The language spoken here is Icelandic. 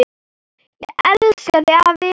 Ég elska þig, afi.